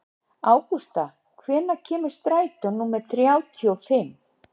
Ágústa, hvenær kemur strætó númer þrjátíu og fimm?